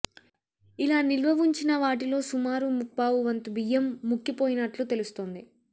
ఇలా నిల్వ ఉంచిన వాటిలో సుమారు ముప్పావు వంతు బియ్యం ముక్కిపోయినట్లు తెలుస్తోంది